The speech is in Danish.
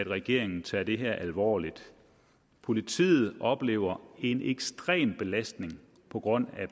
regeringen tager det her alvorligt politiet oplever en ekstrem belastning på grund af